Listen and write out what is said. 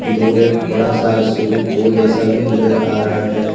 दूर एक बड़ा सा स्विमिंग पूल जैसा भी नजर आ रहा है।